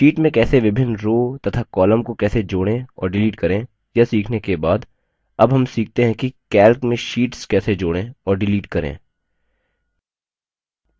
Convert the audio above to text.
sheet में कैसे विभिन्न rows तथा columns को कैसे जोड़ें और डिलीट करें यह सीखने के बाद अब हम सीखते है कि calc में शीट्स कैसे जोड़ें और डिलीट करें